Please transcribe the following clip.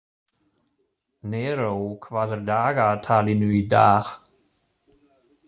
Neró, hvað er á dagatalinu í dag?